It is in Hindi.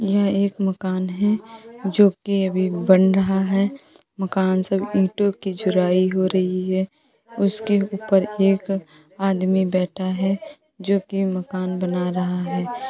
यह एक मकान है जोकि अभी बन रहा है। मकान सब ईंटो की जुराई हो रही है उसके ऊपर एक आदमी बैठा है जोकि मकान बना रहा है।